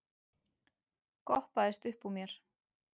goppaðist uppúr mér.